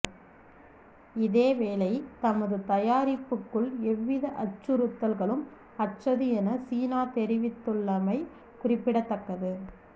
இதேவேளை தமது தயாரிப்புக்கள் எவ்வித அச்சுறுத்தல்களும் அற்றது என சீனா தெரிவித்துள்ளமை குறிப்பிடத்தக்கது